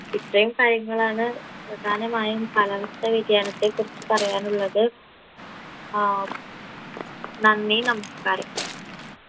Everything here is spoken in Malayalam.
ഇത്രയും കഴിഞ്ഞതാണ് പ്രധാനമായും കാലാവസ്ഥ വ്യതിയാനത്തെക്കുറിച്ച് പറയാനുള്ളത് ആഹ് നന്ദി നമസ്ക്കാരം